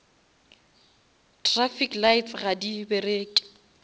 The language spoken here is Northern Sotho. traffic lights ga di bereke